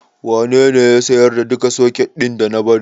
Wanene ya siyar da duka soket ɗin da na bari?